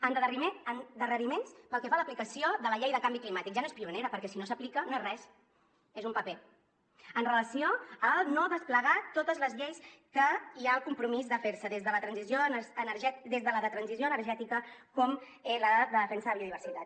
endarreriments pel que fa a l’aplicació de la llei de canvi climàtic ja no és pionera perquè si no s’aplica no és res és un paper amb relació a no desplegar totes les lleis que hi ha el compromís que es facin des de la de transició energètica fins a la de defensa de la biodiversitat